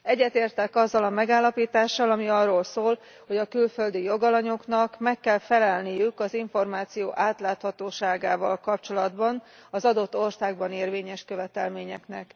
Egyetértek azzal a megállapítással, ami arról szól, hogy a külföldi jogalanyoknak meg kell felelniük az információ átláthatóságával kapcsolatban az adott országban érvényes követelményeknek.